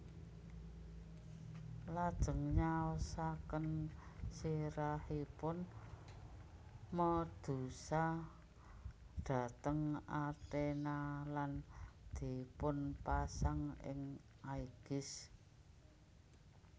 Lajeng nyaosaken sirahipun Medusa dhateng Athena lan dipunpasang ing Aigis